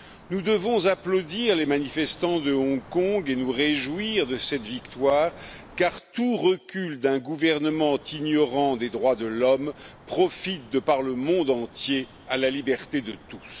Nous devons applaudir les manifestants de Hong Kong et nous réjouir de cette victoire, car tout recul d'un gouvernement ignorant des droits de l'homme profite de par le monde entier à la liberté de tous.